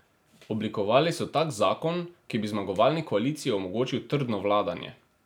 Oblikovali so tak zakon, ki bi zmagovalni koaliciji omogočil trdno vladanje.